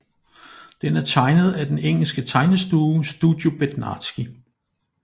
Den er tegnet af den engelske tegnestue Studio Bednarski